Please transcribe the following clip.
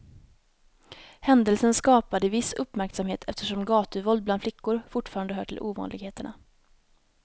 Händelsen skapade viss uppmärksamhet eftersom gatuvåld bland flickor fortfarande hör till ovanligheterna.